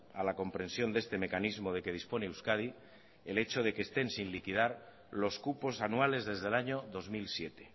a la comprensión de este mecanismo de que dispone euskadi el hecho de que estén sin liquidar los cupos anuales desde el año dos mil siete